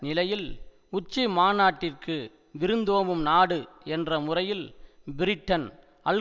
நிலையில் உச்சி மாநாட்டிற்கு விருந்தோம்பும் நாடு என்ற முறையில் பிரிட்டன் அல்